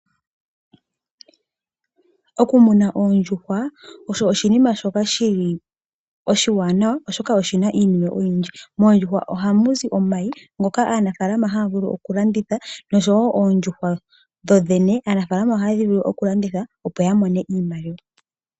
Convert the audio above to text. Okumuna oondjuhwa osho oshinima oshoka oshiwanawa oshoka oshina iiniwe oyindji. Moondjuhwa ohamuzi omayi ngoka aanafalama haya vulu okulanditha oshowo oondjuhwa dhodhene ohaya vulu okudhi landitha opo yamone iimaliwa.